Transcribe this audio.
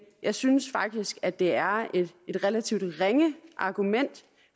jeg synes faktisk at det er et relativt ringe argument